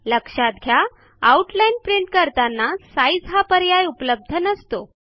लक्षात घ्या outline print करताना साइझ हा पर्याय उपलब्ध नसतो